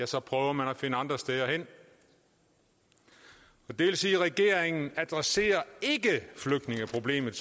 så prøver man at finde andre steder hen det vil sige at regeringen adresserer ikke flygtningeproblemet